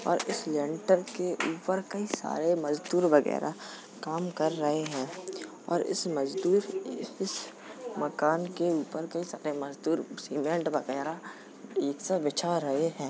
और इस लेंटर के ऊपर कई सारे मजदूर वगैरा काम कर रहे हैं और इस मजदूर इस मकान के ऊपर कई सारे मजदूर सीमेंट वगैरा ठीक से बिछा रहे हैं।